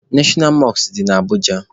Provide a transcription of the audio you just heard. Neshọnal Mọskụ dị na Abụja